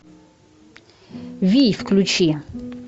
вий включи